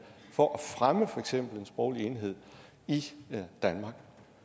for at fremme for eksempel en sproglig enhed i danmark